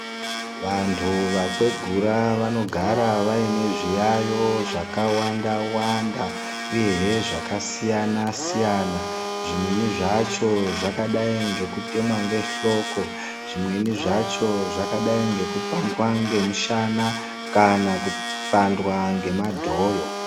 Vandu vakwegura vanogara vainezviyayiyo zvakawanda wanda uye hee zvakasiyana siyana zvimweni zvacho zvakadai ngokutemwa ngehloko zvimweni zvacho zvakadai ngokupandwa ngomushana kana kupandwa ngemadhoyo.